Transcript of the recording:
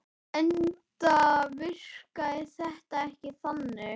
Enda virkaði þetta ekki þannig.